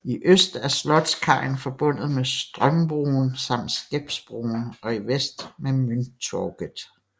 I øst er Slottskajen forbundet med Strömbron samt Skeppsbron og i vest med Mynttorget